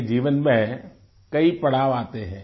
के जीवन में कई पड़ाव आते हैं